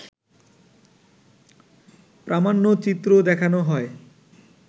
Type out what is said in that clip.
প্রামাণ্যচিত্র দেখানো হয়